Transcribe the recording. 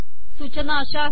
सूचना अशा आहेत